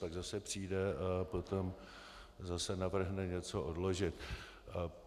Pak zase přijde a potom zase navrhne něco odložit.